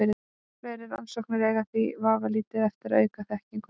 Frekari rannsóknir eiga því vafalítið eftir að auka þekkingu okkar.